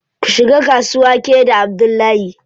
Ku shiga kasuwa ke da Abdullahi.